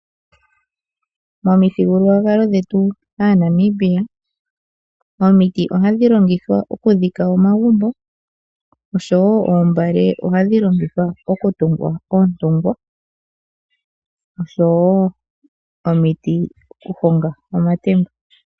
Momithigululwakalo dhetu Aanamibia, omiti ohadhi longithwa okudhika omagumbo. Osho wo oombale ohadhi longithwa okutunga oontungwa, osho wo omiti okuhonga omatemba.